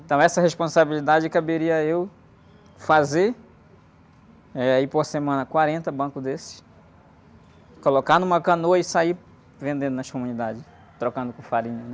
Então, essa responsabilidade, caberia eu fazer, eh, aí, por semana, quarenta bancos desses, colocar numa canoa e sair vendendo nas comunidades, trocando por farinha, né?